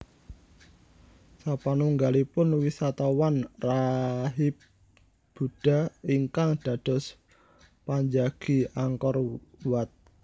Sapanunggalipun wisatawan rahib Buddha ingkang dados panjagi Angkor Wat